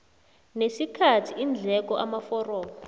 nesikhathi iindleko amaforomo